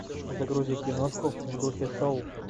загрузи киношку в духе шоу